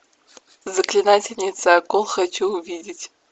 заклинательница акул хочу увидеть